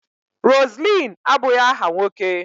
Roseline abụghị aha nwoke